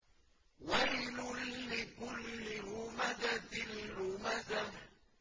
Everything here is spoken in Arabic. وَيْلٌ لِّكُلِّ هُمَزَةٍ لُّمَزَةٍ